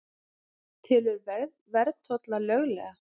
Telur verðtolla löglega